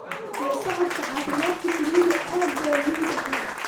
La socodka caafimaadka shinnidu aad bay muhiim u tahay.